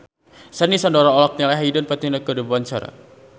Sandy Sandoro olohok ningali Hayden Panettiere keur diwawancara